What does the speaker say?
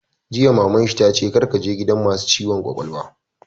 Jiya Maman shi ta ce 'Kar ka je gidan masu ciwon kwakwalwa'!